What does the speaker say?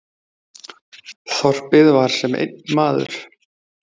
Þorpið var sem einn maður.